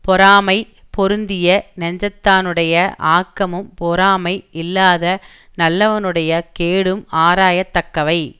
பொறாமை பொருந்திய நெஞ்சத்தானுடைய ஆக்கமும் பொறாமை இல்லாத நல்லவனுடைய கேடும் ஆராயத் தக்கவை